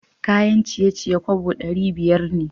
Kayan ciye-ciye kobo dari biyar ne.